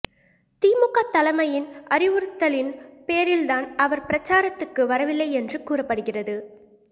திமுக தலைமையின் அறிவுறுத்தலின் பேரில்தான் அவர் பிரச்சாரத்துக்கு வரவில்லை என்று கூறப்படுகிறது